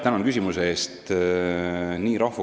Tänan küsimuse eest!